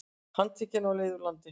Handtekinn á leið úr landi